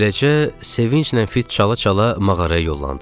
Beləcə sevinclə fit çala-çala mağaraya yollandıq.